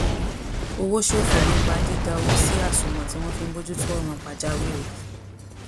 owó ṣòfò nípa dida owó si asuwon tí wón fi ń bójú tó òràn pàjáwìrì